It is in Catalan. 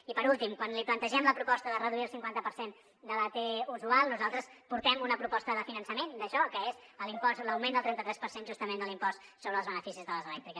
i per últim quan li plantegem la proposta de reduir el cinquanta per cent de la t usual nosaltres portem una proposta de finançament d’això que és l’augment del trenta tres per cent justament de l’impost sobre els beneficis de les elèctriques